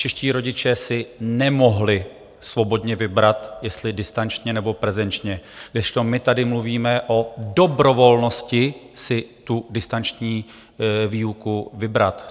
Čeští rodiče si nemohli svobodně vybrat, jestli distančně nebo prezenčně, kdežto my tady mluvíme o dobrovolnosti si tu distanční výuku vybrat.